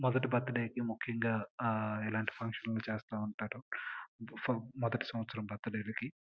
మొదటి బర్త్డే కి ముఖ్యంగా ఇలాంటి ఫంక్షన్లు చేస్తూ ఉంటారు. ఇలా మొదటి సంవత్సరం బర్త్డే కి --